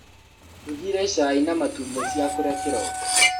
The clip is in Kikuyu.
Ndugire cai na matumbĩ cia kũrĩa kĩroko.